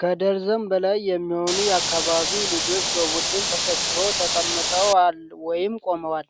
ከደርዘን በላይ የሚሆኑ የአካባቢው ልጆች በቡድን ተሰብስበው ተቀምጠዋል ወይም ቆመዋል።